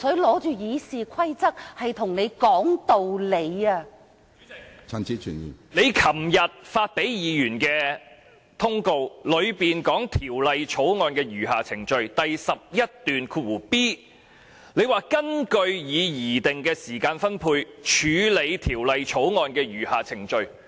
主席，你在周二發給議員的函件中提到《條例草案》餘下審議程序的安排，其中第 11b 段提及你將根據已擬定的時間分配，處理《條例草案》的餘下程序。